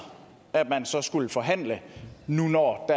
at man så skal forhandle nu når